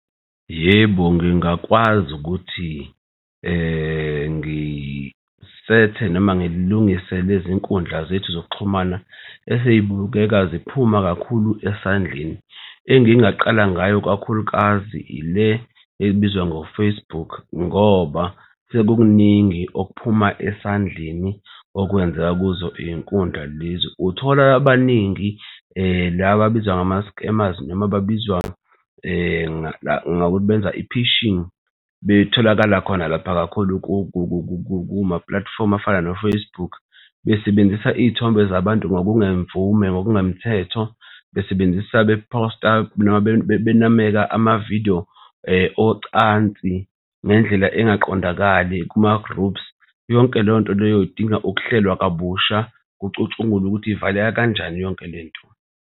Yebo, ngingakwazi ukuthi ngisethe noma ngilungise lezi nkundla zethu zokuxhumana esey'bukeka ziphuma kakhulu esandleni. Engingaqala ngayo kakhulukazi ile ebizwa ngo-Facebook ngoba sekukuningi okuphuma esandleni okwenzeka kuzo iy'nkundla lezi. Uthola abaningi laba ababizwa ngama-scammers noma babizwa ngokuthi benza i-phishing betholakala khona lapha kakhulu kumapulatifomu afana no-Facebook besebenzisa iy'thombe zabantu ngokungemvume, ngokungemthetho besebenzisa bephosta noma benameka amavidiyo ocansi ngendlela engaqondakali kuma-groups. Yonke leyo nto leyo idinga ukuhlelwa kabusha kucutshungulwe ukuthi ivaleka kanjani yonke lento.